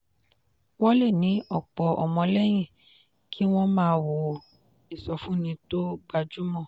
wọ́n lè ní ọ̀pọ̀ ọmọlẹ́yìn kí wọ́n máa wo ìsọfúnni tó gbajúmọ̀.